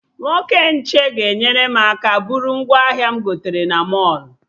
Nwoke nche ga-enyere m aka bụrụ ngwaahịa m gotere na mọlụ